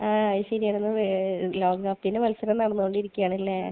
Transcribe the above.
ആഹ്. അത് ശരിയാ. ലോകകപ്പിന്റെ മത്സരം നടന്നോണ്ടിരിക്കാണല്ലേ?